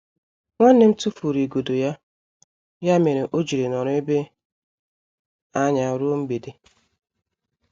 Nwannem tufụrụ igodo ya, ya mere ojiri nọrọ ebe anya ruo mgbede.